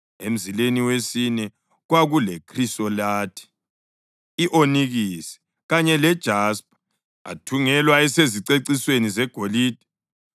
emzileni wesine kwakulekhrisolathi, i-onikisi kanye lejaspa. Athungelwa esezicecisweni zegolide.